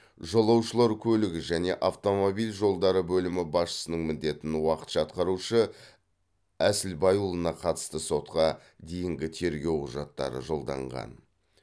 жолаушылар көлігі және автомобиль жолдары бөлімі басшысының міндетін уақытша атқарушы әсілбайұлына қатысты сотқа дейінгі тергеу құжаттары жолданған